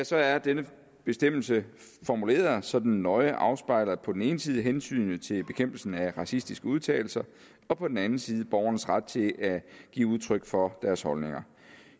så er denne bestemmelse formuleret så den nøje afspejler på den ene siden hensynet til bekæmpelsen af racistiske udtalelser og på den anden side borgernes ret til at give udtryk for deres holdninger